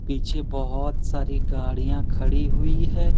पीछे बहोत सारी गाड़ियां खड़ी हुई है।